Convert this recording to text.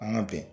An ka bɛn